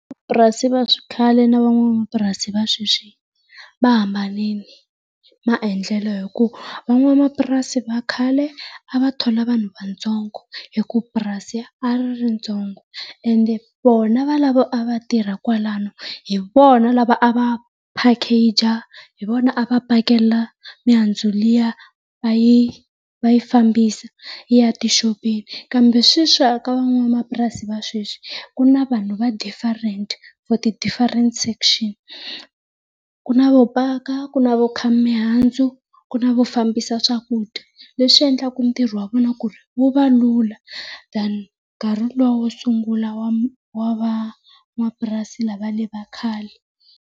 va xikhale ni van'wamapurasi va sweswi va hambanile maendlelo hi ku van'wamapurasi va khale a va thola vanhu vatsongo hi ku purasi a ri ri ritsongo, ende vona valavo a va tirha kwalano hi vona lava a va phakeja hi vona a va pakela mihandzu liya va yi fambisa yi ya tixopeni kambe sweswi eka van'wamapurasi va sweswi ku na vanhu va different for ti different section. Ku na vo paka, ku na vo khaya mihandzu, ku na vo fambisa swakudya. Leswi endlaka ntirho wa vona ku ri wu va lula than nkarhi lu wa wo sungula wa wa van'wamapurasi la va le va khale.